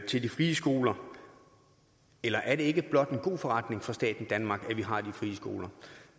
til de frie skoler eller er det ikke blot en god forretning for staten danmark at vi har de frie skoler